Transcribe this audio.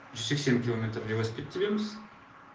жүз сексен километр велосипед тебеміз